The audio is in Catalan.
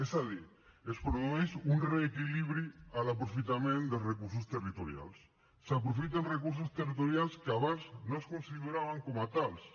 és a dir es produeix un reequilibri a l’aprofitament de recursos territorials s’aprofiten recursos territorials que abans no es consideraven com a tals